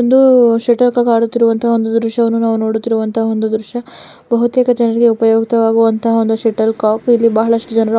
ಒಂದು shuttlecock ಆಡುತ್ತಿರುವ ದೃಶ್ಯವನ್ನು ನಾವು ನೋಡ್ತಿರುವಂತ ಒಂದು ದ್ರಿಶ್ಯ ಬಹುತೇಕ ಜನರು ಉಪಯೋಗಿ ಇರುವಂತ ಒಂದು ಶಟಲ್ ಕಾಕ್ ಬಹಳ ಅಷ್ಟು ಜನ